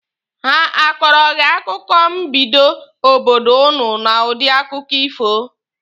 Ha akọọrọ gị akụkọ mbido obodo ụnụ n'udi akụkọ ifo?